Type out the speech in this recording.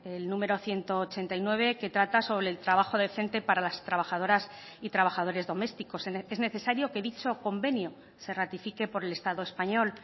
el número ciento ochenta y nueve que trata sobre el trabajo decente para las trabajadoras y trabajadores domésticos es necesario que dicho convenio se ratifique por el estado español